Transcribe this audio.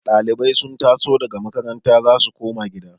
Dalibai sun taso daga makaranta za su koma gida